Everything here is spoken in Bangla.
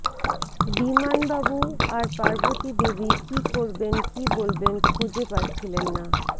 বিমান বাবু আর পার্বতী দেবী কি করবেন কি বলবেন খুঁজে পাচ্ছিলেন না